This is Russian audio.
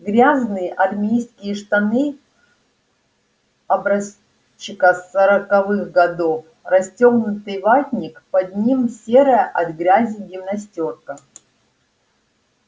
грязные армейские штаны образчика сороковых годов расстёгнутый ватник под ним серая от грязи гимнастёрка